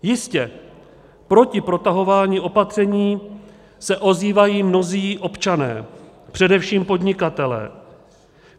Jistě, proti protahování opatření se ozývají mnozí občané, především podnikatelé.